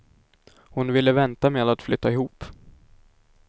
Hon ville vänta med att flytta ihop.